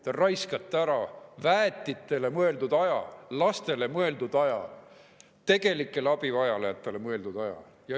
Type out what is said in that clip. Te raiskate ära väetitele mõeldud aja, lastele mõeldud aja, tegelikele abivajajatele mõeldud aja.